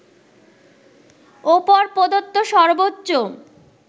ওপর প্রদত্ত সর্বোচ্চ